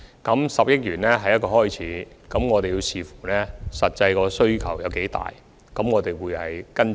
這10億元只是一個開始，我們須視乎實際需求，才再作出跟進。